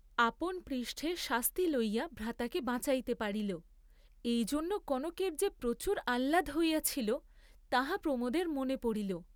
আপন পৃষ্ঠে শাস্তি লইয়া ভ্রাতাকে বাঁচাইতে পারিল, এইজন্য কনকের যে প্রচুর আহ্লাদ হইয়াছিল, তাহা প্রমোদের মনে পড়িল।